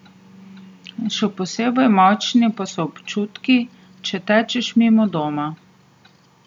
Še posebej močni pa so občutki, če tečeš mimo doma.